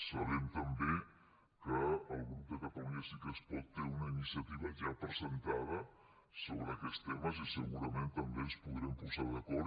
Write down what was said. sabem també que el grup de catalunya sí que és pot té una iniciativa ja presentada sobre aquests temes i segurament també ens podrem posar d’acord